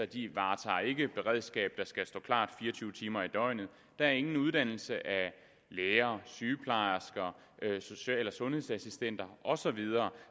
de varetager ikke et beredskab der skal stå klart fire og tyve timer i døgnet der er ingen uddannelse af læger sygeplejersker social og sundhedsassistenter og så videre